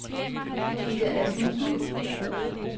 Gitte Asmussen